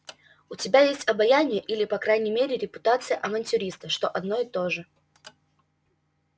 у тебя есть обаяние или по крайней мере репутация авантюриста что одно и то же